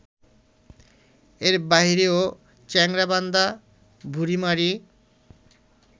এর বাইরে চ্যাংড়াবান্ধা-বুড়িমারি